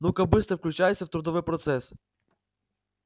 ну-ка быстро включайся в трудовой процесс